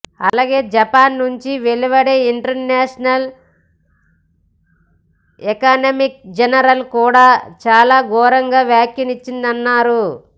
అలాగే జపాన్ నుంచి వెలువడే ఇంటర్నేషనల్ ఎకనామిక్ జర్నల్ కూడా చాలా ఘోరంగా వ్యాఖ్యానించిందన్నారు